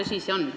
See on tõsi.